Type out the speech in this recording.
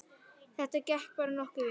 Þetta gekk bara nokkuð vel